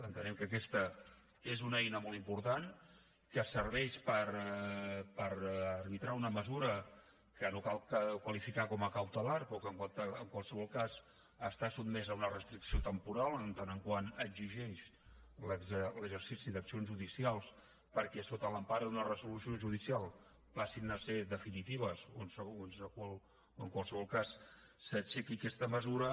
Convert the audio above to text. entenem que aquesta és una eina molt important que serveix per arbitrar una mesura que no cal qualificar com a cautelar però que en qualsevol cas està sotmesa a una restricció temporal en tant que exigeix l’exercici d’accions judicials perquè sota l’empara d’una resolució judicial passin a ser definitives o en qualsevol cas s’aixequi aquesta mesura